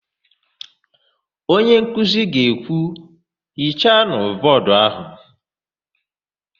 Onyenkuzi ga-ekwu, "hichanụ bọọdụ áhụ̀"!